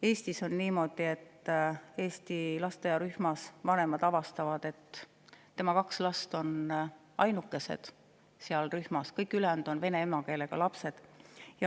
Eestis on niimoodi, et vanemad avastavad, et eesti lasteaiarühmas on nende kaks last ainukesed, kõik ülejäänud on vene emakeelega lapsed.